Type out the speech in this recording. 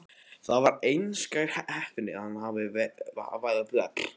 Það var einskær heppni að hann varð vel metinn lögmaður.